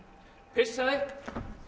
pissaði